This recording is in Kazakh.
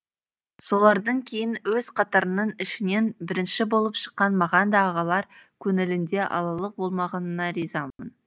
солардан кейін өз қатарының ішінен бірінші болып шыққан маған да ағалар көңілінде алалық болмағанына ризамын